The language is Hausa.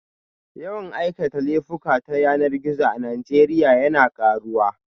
Yawan aikata laifuka ta yanar gizo a Najeriya yana karuwa